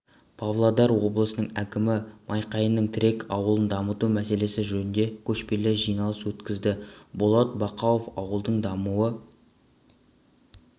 павлодар облысының әкімі майқайың тірек ауылын дамыту мәселесі жөнінде көшпелі жиналыс өткізді болат бақауов ауылдың дамуы